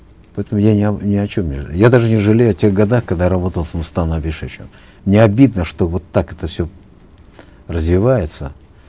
поэтому я ни ни о чем не я даже не жалею о тех годах когда работал с нурсултаном абишевичем мне обидно что вот так это все развивается